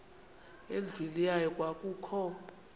endlwini yayo kwakukho